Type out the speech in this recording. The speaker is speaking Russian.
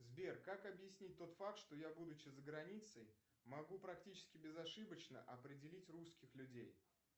сбер как объяснить тот факт что я будучи за границей могу практически безошибочно определить русских людей